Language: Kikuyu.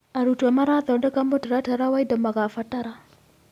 Arutwo marathondeka mũtaratara wa indo magabatara.